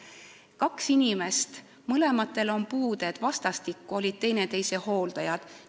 Näiteks, kaks inimest, kellel mõlemal oli puue, olid vastastikku teineteise hooldajad.